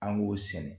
An b'o sɛnɛ